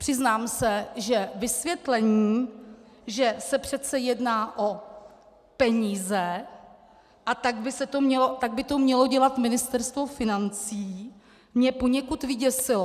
Přiznám se, že vysvětlení, že se přece jedná o peníze, a tak by to mělo dělat Ministerstvo financí, mě poněkud vyděsilo.